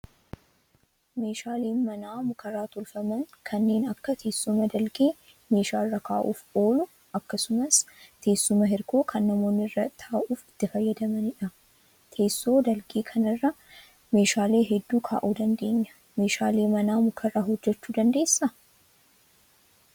Meeshaaleen manaa mukarraa tolfaman kanneen akka teessuma dalgee meeshaa irra kaa'uuf oolu akkasumas teessuma hirkoo kan namoonni irra taa'uuf itti fayyadamanidha. Teessoo dalgee kanarra meeshaalee hedduu kaa'uu dandeenya. Meeshaalee manaa mukarraa hojjachuu dandeessaa?